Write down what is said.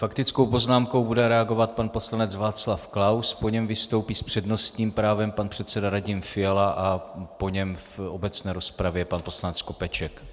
Faktickou poznámkou bude reagovat pan poslanec Václav Klaus, po něm vystoupí s přednostním právem pan předseda Radim Fiala a po něm v obecné rozpravě pan poslanec Skopeček.